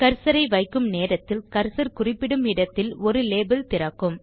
கர்சரை வைக்கும் நேரத்தில் கர்சர் குறிப்பிடும் இடத்தில் ஒரு லேபிள் திறக்கும்